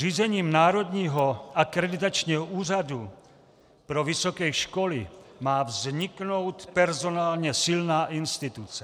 Zřízením Národního akreditačního úřadu pro vysoké školy má vzniknout personálně silná instituce.